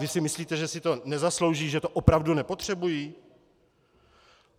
Vy si myslíte, že si to nezaslouží, že to opravdu nepotřebují?